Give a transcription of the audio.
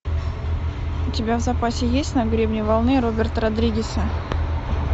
у тебя в запасе есть на гребне волны роберта родригеса